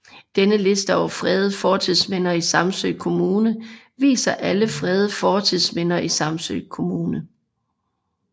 Denne liste over fredede fortidsminder i Samsø Kommune viser alle fredede fortidsminder i Samsø Kommune